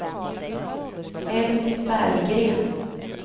Elvy Berggren